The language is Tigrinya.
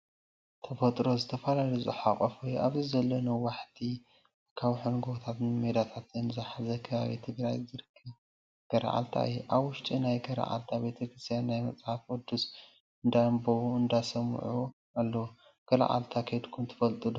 ተፈጥሮ ዝተፈላለዩ ዝሓጎፈ እዩ ኣብዚ ዘሎ ነዋሕቲ ኣካውሕን ጎቦታት ሜዳታትን ዝሓዘ ከባቢ ትግራይ ዝርከብ ገራዓልታ እዩ። ኣብ ውሽጢ ናይ ገራዐልታ ቤተክርስትያ ናይ መፅሓፍ ቅዱስ እንዳኣንበቡን እንዳሰመዑን ኣለው። ገረዓልታ ከድኩም ዶ ትፈልጡ?